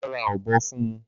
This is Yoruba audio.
Má ra ọ̀bọ fún ùn